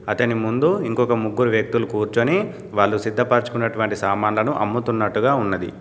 అతని ముందు ఇంకొక ముగ్గురు వ్యక్తులు కూర్చుని వాళ్ళు సిద్ధపరచుకున్నటువంటి సామాన్లను అమ్ముతున్నట్టుగా ఉన్నది.